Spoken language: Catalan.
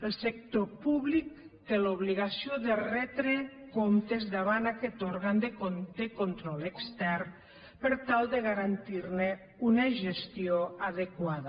el sector públic té l’obligació de retre comptes davant aquest òrgan de control extern per tal de garantirne una gestió adequada